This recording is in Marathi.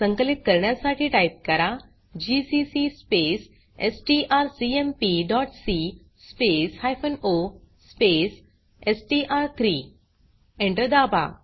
संकलित करण्यासाठी टाइप करा जीसीसी स्पेस strcmpसी स्पेस हायफेन ओ स्पेस एसटीआर3 Enter दाबा